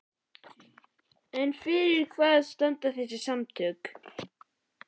En fyrir hvað standa þessi samtök?